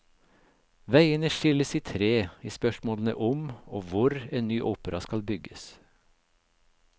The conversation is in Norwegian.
Veiene skilles i tre i spørsmålene om og hvor en ny opera skal bygges.